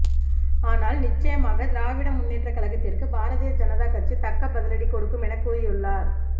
ஆனால் நிச்சயமாக திராவிட முன்னேற்றக் கழகத்திற்கு பாரதிய ஜனதா கட்சி தக்க பதிலடி கொடுக்கும் என கூறியுள்ளார்